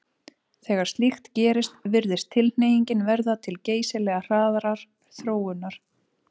Þegar slíkt gerist virðist tilhneigingin verða til geysilega hraðrar þróunar.